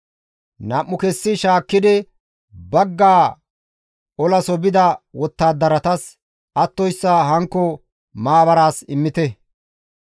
Nam7u kessi shaakkidi baggaa olaso bida wottadaratas attoyssa hankko maabaraas immite.